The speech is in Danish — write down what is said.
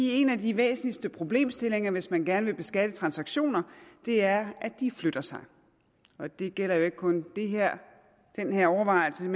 en af de væsentligste problemstillinger hvis man gerne vil beskatte transaktioner er at de flytter sig og det gælder jo ikke kun den her overvejelse